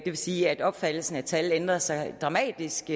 vil sige at opfattelsen af tal ændrede sig dramatisk